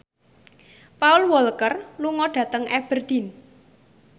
Paul Walker lunga dhateng Aberdeen